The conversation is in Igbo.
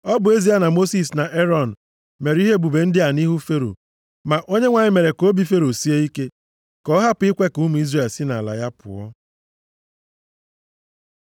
Ọ bụ ezie na Mosis na Erọn mere ihe ebube ndị a nʼihu Fero, ma Onyenwe anyị mere ka obi Fero sie ike, ka ọ hapụ ikwe ka ụmụ Izrel si nʼala ya pụọ.